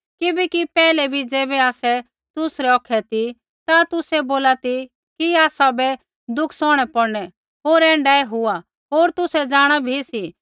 किबैकि पैहलै बी ज़ैबै आसै तुसरै औखै ती ता तुसै बोला ती कि आसाबै दुख सौहणै पौड़नै होर ऐण्ढाऐ हुआ होर तुसै जाँणा भी सी